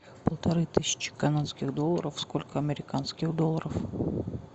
полторы тысячи канадских долларов сколько американских долларов